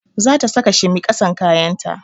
Za ta saka shimi ƙasan kayan ta